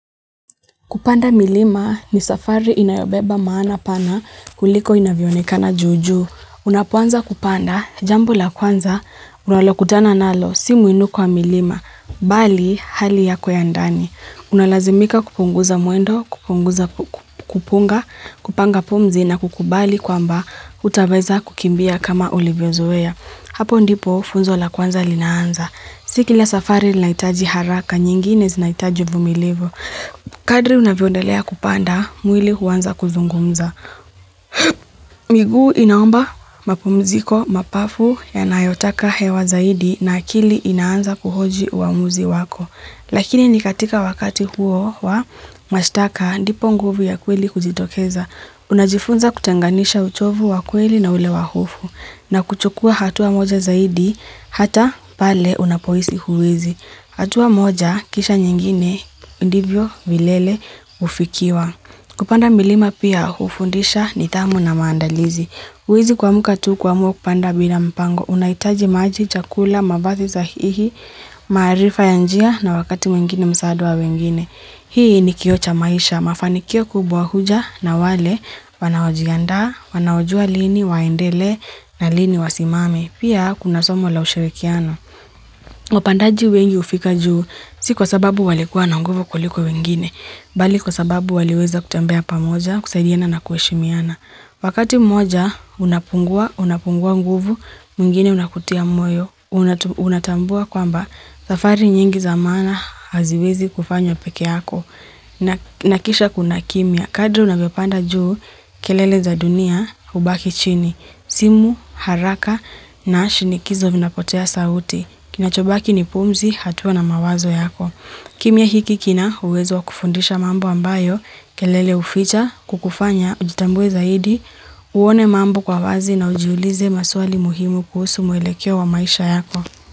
Kupanda milima ni safari inayobeba maana pana kuliko inavyo onekana juu juu. Unapoanza kupanda, jambo la kwanza unalokutana nalo si muinuko wa milima, mbali hali yako ya ndani. Unalazimika kupunguza mwendo, kupunguza kupunga, kupanga pumzi na kukubali kwamba, hutaweza kukimbia kama ulivyozoea. Hapo ndipo funzo la kwanza linaanza. Siki la safari linahitaji haraka, nyingine zinahitaji uvumilivu. Kadri unavyoendelea kupanda, mwili huanza kuzungumza, miguu inaomba mapumziko, mapafu yanayotaka hewa zaidi na akili inaanza kuhoji uamuzi wako. Lakini ni katika wakati huo wa mashtaka ndipo nguvu ya kweli kujitokeza. Unajifunza kutenganisha uchovu wa kweli na ule wa hofu na kuchukua hatua moja zaidi hata pale unapohisi huwezi. Hatua moja, kisha nyingine ndivyo, vilele hufikiwa. Kupanda milima pia, hufundisha nidhamu na maandalizi. Huwezi kuamka tu kuamua kupanda bila mpango, unahitaji maji, chakula, mavazi sahihi, maarifa ya njia na wakati mwingine msaada wa wengine. Hii ni kioo cha maisha, mafanikio kubwa huja na wale wanaojianda, wanaojua lini, waendele na lini wasimame. Pia kuna somo la ushirikiano. Wapandaji wengi hufika juu, si kwa sababu walikuwa na nguvu kuliko wengine, mbali kwa sababu waliweza kutembea pamoja, kusaidiana na kuheshimiana. Wakati mmoja, unapungua, unapungua nguvu, mwingine unakutia moyo, unatambua kwamba, safari nyingi za maana haziwezi kufanywa peke yako, na kisha kuna kimya. Kadri unavyopanda juu kelele za dunia hubaki chini, simu haraka na shindikizo vinapotea sauti. Kinachobaki ni pumzi, hatua na mawazo yako. Kimya hiki kina uwezo wa kufundisha mambo ambayo kelele huficha, kukufanya, ujitambue zaidi, uone mambo kwa wazi na ujiulize maswali muhimu kuhusu mwelekeo wa maisha yako.